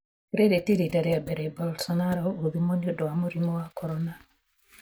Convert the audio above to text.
Rĩrĩ ti rita rĩa mbere Bolsonaro gũthimũo nĩũndũ wa mũrimũ wa korona.